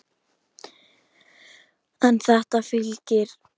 En þetta fylgir.